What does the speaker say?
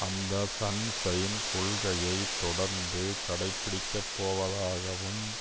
அந்த sunshine கொள்கையைத் தொடர்ந்து கடைபிடிக்கப்போவதாகவும்